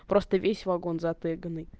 просто весь вагон затэганый